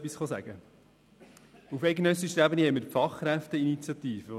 Auf eidgenössischer Ebene besteht die Fachkräfteinitiative.